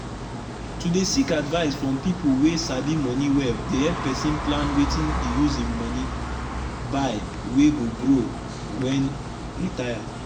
to dey seek advise from the people wey sabi money welldey help person plan wetin he use him money buy wey go grow when retire.